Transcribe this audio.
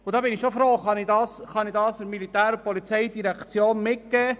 Ich bin schon froh, dass ich diese Situation der POM schildern kann.